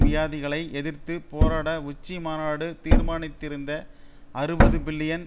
வியாதிகளை எதிர்த்து போராட உச்சிமாநாடு தீர்மானித்திருந்த அறுபது பில்லியன்